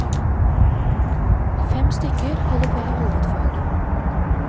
Fem stykker holder på med hovedfag.